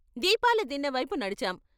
దీపాల దిన్నెవైపు నడిచాం.